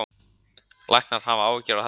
Læknar hafa áhyggjur af þessari stöðu